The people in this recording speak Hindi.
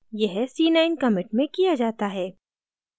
यह c9 commit में किया जाता है